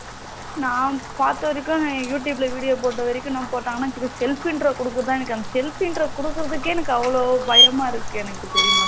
நா பாத்த வரைக்கும் youtube ல video போட்டவரைக்கும் என்ன போட்டாங்கனா self intro குடுக்க தான் அந்த self intro குடுக்குறதுக்கே எனக்கு அவளோ பயமா இருக்கு எனக்கு தெரியுமா